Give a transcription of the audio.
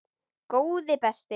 Góði besti!